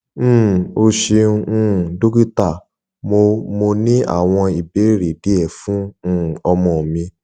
um o ṣeun um dokita mo mo ni awọn ibeere diẹ fun um ọmọ mi